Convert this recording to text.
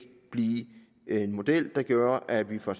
blive en model vil gøre at vi får